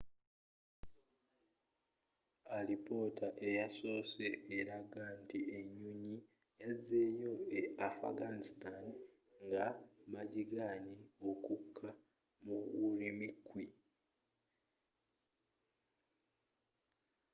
alipotta eyasosewo eraga nti enyonyi yazzeyo e afghanistan nga bagiganye okkuka mu ürümqi